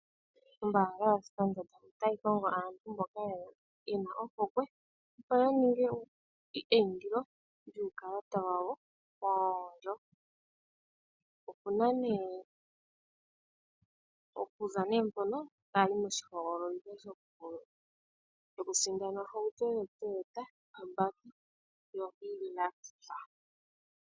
Ombaanga yoStandard otayi kongo aantu mboka ye na ohokwe, opo ya ninge eindilo lyuukalata wawo woondjo. Okuza mpoka ota yi moshihogololitho shokusindana ohauto yoToyota yobaki yoHilux.